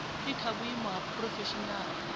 i kha vhuimo ha phurofeshinala